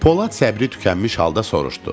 Polad səbri tükənmiş halda soruşdu: